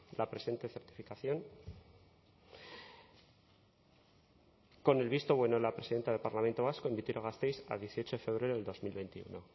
la presente certificación con el visto bueno de la presidenta del parlamento vasco en vitoria gasteiz a dieciocho de febrero del dos mil veintiuno